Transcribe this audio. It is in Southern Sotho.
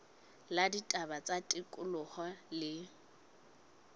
la ditaba tsa tikoloho le